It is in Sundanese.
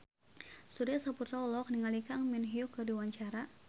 Surya Saputra olohok ningali Kang Min Hyuk keur diwawancara